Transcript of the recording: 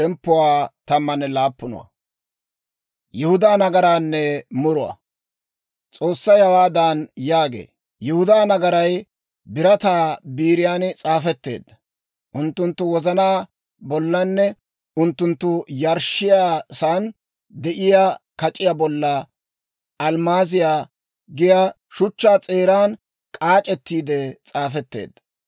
S'oossay hawaadan yaagee; «Yihudaa nagaray birataa biiriyan s'aafetteedda; unttunttu wozanaa bollanne unttunttu yarshshiyaasan de'iyaa kac'iyaa bolla almmaaziyaa giyaa shuchchaa s'eeran k'aac'ettiide s'aafetteedda.